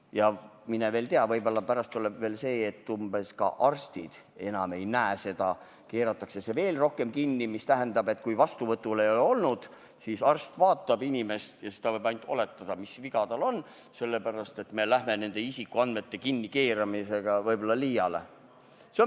Ja mine tea, võib-olla läheb pärast veel nii, et ka arstid ise seda enam ei näe, kõik keeratakse veel rohkem kinni, mis tähendab, et kui inimene vastuvõtul ei ole käinud, siis arst vaatab teda ja võib ainult oletada, mis tal viga on – sellepärast, et me läheme nende isikuandmete kinnikeeramisega võib-olla liiale.